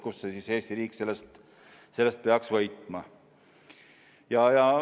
Kust siis Eesti riik sellest peaks võitma?